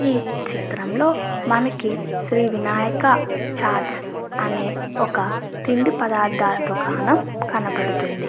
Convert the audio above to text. ఈ చిత్తరం లో మనకి శ్రీ వినాయక చాట్స్ అనే ఒక తిండి పదార్ధాల దుకాణం కనబడుతుంది.